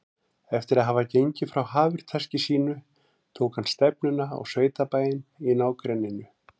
Eftir að hafa gengið frá hafurtaski sínu tók hann stefnuna á sveitabæinn í nágrenninu.